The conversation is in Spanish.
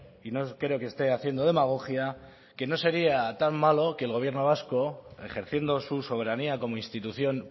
y no creo que esté haciendo demagogia que no sería tan malo que el gobierno vasco ejerciendo su soberanía como institución